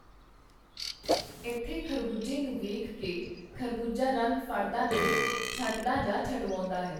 ਏਥੇ ਖਰਬੂਜ਼ੇ ਨੂੰ ਵੇਖ ਕੇ ਖਰਬੂਜ਼ਾ ਰੰਗ ਫੜਦਾ ਨਹੀਂ, ਛੱਡਦਾ ਜਾਂ ਛੁਡਵਾਉਂਦਾ ਹੈ.